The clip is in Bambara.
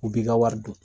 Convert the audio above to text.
U b'i ka wari dun